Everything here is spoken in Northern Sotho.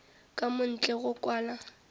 ka mo ntle go kwala